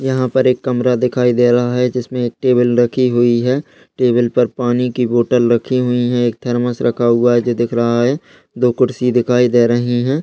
यहां पर एक कमरा दिखाई दे रहा है जिसमें एक टेबल रखी हुई है। टेबल पर पानी की बोतल रखी हुई है। एक थरमस रखा हुआ है जो रहा है। दो कुर्सी दिखाई दे रही हैं।